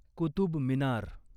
Qutub Minar